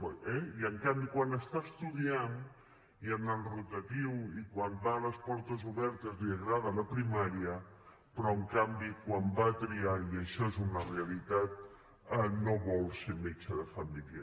eh i en canvi quan està estudiant i en el rotatiu i quan va a les portes obertes li agrada la primària però en canvi quan va a triar i això és una realitat no vol ser metge de família